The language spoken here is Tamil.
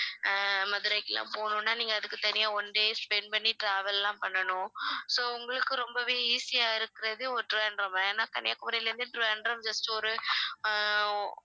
ஆஹ் மதுரைக்குலாம் போகணும்னா நீங்க அதுக்கு தனியா one day spend பண்ணி travel லாம் பண்ணனும் so உங்களுக்கு ரொம்பவே easy ஆ இருக்கிறது ஊர் திருவனந்தபுரம் ஏன்னா கன்னியாகுமரியிலிருந்து திருவனந்தபுரம் just ஒரு ஆஹ்